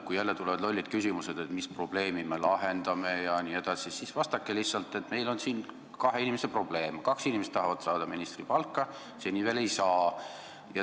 Kui tulevad jälle lollid küsimused, et mis probleemi me lahendame jne, siis vastake lihtsalt: meil on siin kahe inimese probleem, kaks inimest tahavad saada ministripalka, seni veel ei saa.